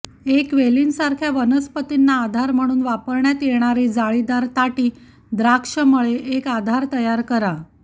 एक वेलींसारख्या वनस्पतींना आधार म्हणून वापरण्यात येणारी जाळीदार ताटी द्राक्षमळे एक आधार तयार करा